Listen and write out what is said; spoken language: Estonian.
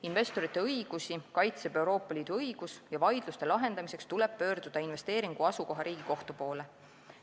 Investorite õigusi kaitseb Euroopa Liidu õigus ja vaidluste lahendamiseks tuleb pöörduda investeeringu asukohariigi kohtu poole.